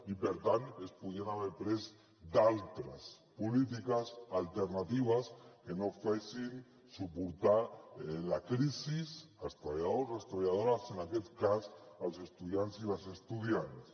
i per tant es podrien haver pres d’altres polítiques alternatives que no fessin suportar la crisis als treballadors o a les treballadores en aquests cas als estudiants i les estudiants